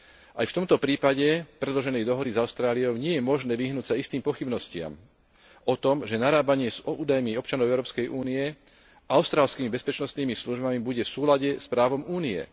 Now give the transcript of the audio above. Aj v tomto prípade predloženej dohody s Austráliou nie je možné vyhnúť sa istým pochybnostiam o tom, že narábanie s údajmi občanov Európskej únie austrálskymi bezpečnostnými službami bude v súlade s právom Únie.